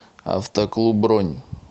автоклуб бронь